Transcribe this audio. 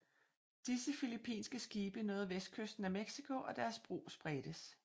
Disse filippinske skibe nåede vestkysten af Mexico og deres brug spredtes